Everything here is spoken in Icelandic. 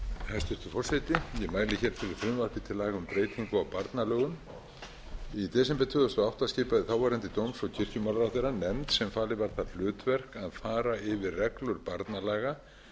hæstvirtur forseti ég mæli fyrir frumvarpi til laga um breytingu á barnalögum í desember tvö þúsund og átta skipaði þáverandi dóms og kirkjumálaráðherra nefnd sem falið var það hlutverk að fara yfir reglur barnalaga